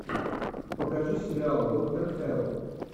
покажи сериал доктор хэрроу